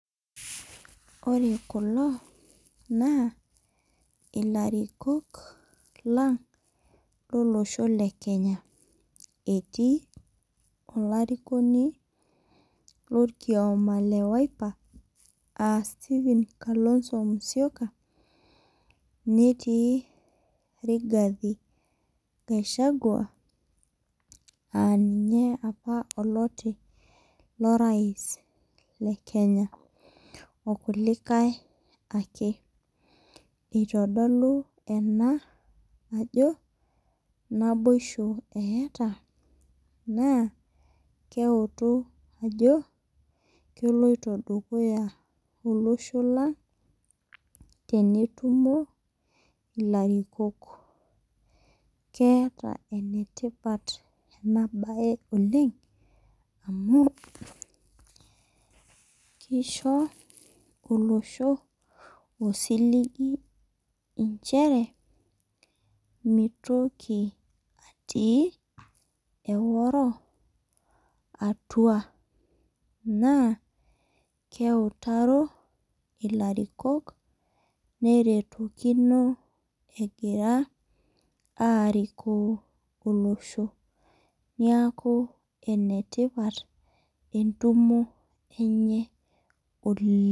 Ore kulo na ilarikok lang lilosho le kenya etii olarikoni lorkiama lenwipa asteven kalonzo musyoka netii rigathi gashagwa aa ninye apa oloti lorais lekenya okulikae ake itodolu ena ajo naboisho eeta na keutu ajo keloito dukuya olosho lang temwtumo larikok keeta enabae tipat amu kishubolosho osiligi nchere mitoki si eoro atua na keutaro ilarikok neretokinobegira arikok olosho neaku enetipat entumo enye oleng.